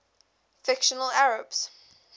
fictional arabs